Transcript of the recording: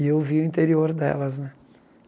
E eu vi o interior delas, né?